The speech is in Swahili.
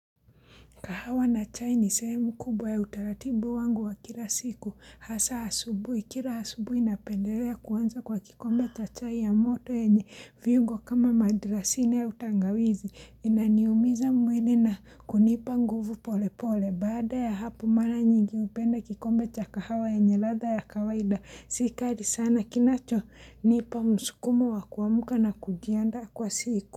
Kahawa na chai ni sehemu kubwa ya utaratibu wangu wa kila siku hasa asubuhi kila asubuhi na pendelea kuanza kwa kikombe cha chai ya moto enye viungo kama madrasine ya tangawizi inaniumiza mwili na kunipa nguvu pole pole baada ya hapo mara nyingi hupenda kikombe cha kahawa yenye ladha ya kawaida si kali sana kinacho nipa msukumo wa kuamuka na kujiandaa kwa siku.